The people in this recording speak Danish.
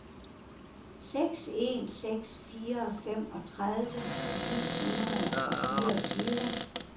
seks en seks fire femogtredive ni hundrede og fireogtyve